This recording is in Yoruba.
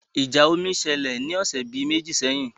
Ìjà omi ṣẹlẹ̀ ni ọ̀sẹ̀ bi meji sẹ́yìn